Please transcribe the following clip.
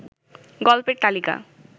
গল্পের তালিকা